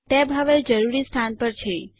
tab હવે જરૂરી સ્થાન પર છે